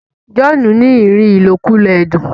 John ní rí ilokulo ẹdun.